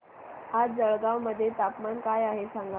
आज जळगाव मध्ये तापमान काय आहे सांगा